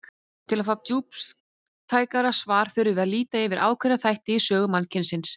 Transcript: Til að fá djúptækara svar þurfum við að líta yfir ákveðna þætti í sögu mannkynsins.